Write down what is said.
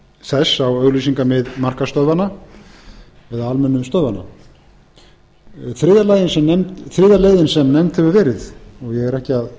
þess á auglýsingamið markaðsstöðvanna eða almennu stöðvanna þriðja leiðin sem nefnd hefur verið og ég er ekki að